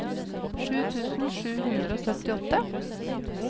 sju tusen sju hundre og syttiåtte